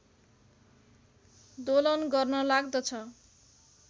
दोलन गर्न लाग्दछ